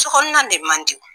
Sokɔnɔna de man di